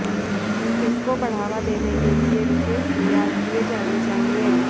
इसक ो बढ़ावा देने के लिए विशेष प्रयास किए जाने चाहिए